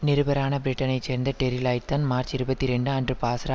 நிருபரான பிரிட்டனைச் சேர்ந்த டெரி லாயிட்தான் மார்ச் இருபத்தி இரண்டு அன்று பாஸ்ரா